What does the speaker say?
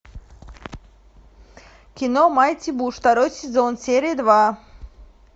кино майти буш второй сезон серия два